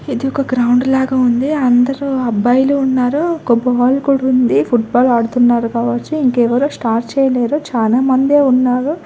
ఇది ఒక గ్రౌండ్ లాగా ఉంది అందరు అబ్బాయిలు ఉన్నారు ఒక బాల్ కూడా ఉంది ఫుట్బాల్ ఆడుతున్నారు కావచ్చు ఇంకెవరు స్టార్ట్ చెయ్యలేరు చానా మండే ఉన్నారు.